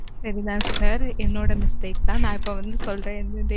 சரி தான் sir என்னோட mistake தான். நான் இப்ப வந்து சொல்றேன்